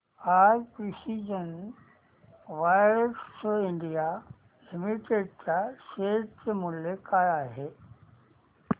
आज precision wires India limited च्या share चे मूल्य काय आहे